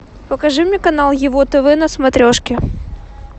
покажи мне канал его тв на смотрешке